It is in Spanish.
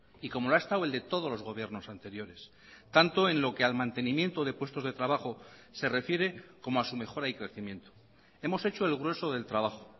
y como lo ha estado el de todos los gobiernos anteriores tanto en lo que al mantenimiento de puestos de trabajo se refiere como a su mejora y crecimiento hemos hecho el grueso del trabajo